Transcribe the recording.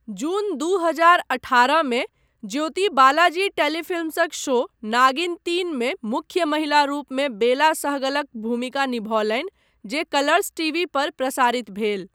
जून दू हजार अठारहमे, ज्योति बालाजी टेलीफिल्म्सक शो नागिन तीनमे मुख्य महिला रूपमे बेला सहगलक भूमिका निभौलनि, जे कलर्स टीवी पर प्रसारित भेल।